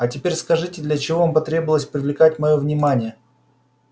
а теперь скажите для чего вам потребовалось привлекать моё внимание